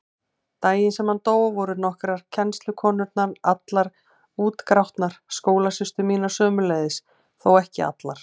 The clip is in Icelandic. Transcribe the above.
Daginn sem hann dó voru nokkrar kennslukonurnar allar útgrátnar, skólasystur mínar sömuleiðis, þó ekki allar.